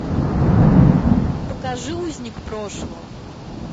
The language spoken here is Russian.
покажи узник прошлого